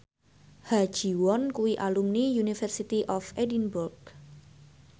Ha Ji Won kuwi alumni University of Edinburgh